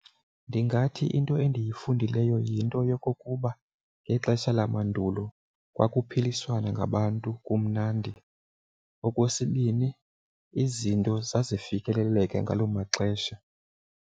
Ndingathi into endiyifundileyo yinto yokokuba ngexesha lamandulo kwakuphiliswana ngabantu, kumnandi. Okwesibini, izinto zazifikeleleka ngaloo maxesha.